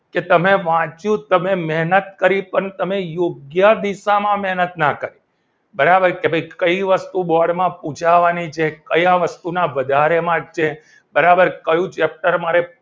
કે તમે વાંચ્યું તમે મહેનત કરી પણ તમે યોગ્ય દિશામાં મહેનત ના કરી બરાબર કે ભાઈ કઈ વસ્તુ bord માં પુછાવાની છે કયા વસ્તુના વધારે marks છે બરાબર કયું cheptor મારે